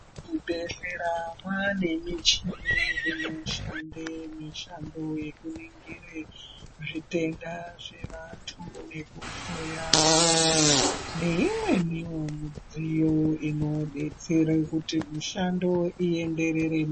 Zvibhedhlera mane michini inoshanda mishando yekurekera zvitenda zvevantu nekuhloya vantu neimweniwo midziyo inodetsera kuti mishando ienderere.